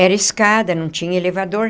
Era escada, não tinha elevador.